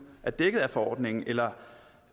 er dækket af forordningen eller